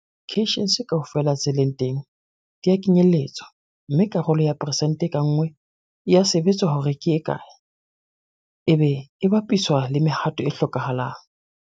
Di-cations kaofela tse leng teng di a kenyelletswa, mme karolo ya peresente ka nngwe e a sebetswa hore ke e kae, ebe e bapiswa le mehato e hlokahalang.